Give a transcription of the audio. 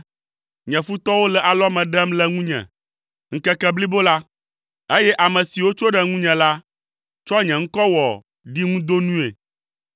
Nye futɔwo le alɔme ɖem le ŋunye ŋkeke blibo la, eye ame siwo tso ɖe ŋunye la tsɔ nye ŋkɔ wɔ ɖiŋudonui.